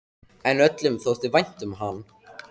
En öllum þótti vænt um hann.